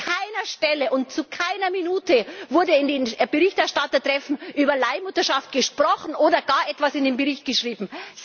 An keiner Stelle und zu keiner Minute wurde in den Berichterstattertreffen über Leihmutterschaft gesprochen oder gar etwas in den Bericht geschrieben.